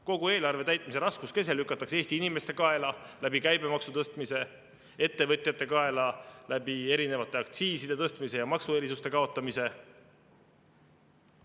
Kogu eelarve täitmise raskuskese lükatakse Eesti inimeste kaela käibemaksu tõstmisega, ettevõtjate kaela erinevate aktsiiside tõstmisega ja maksuerisuste kaotamisega.